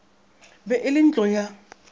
be e le ntlo ya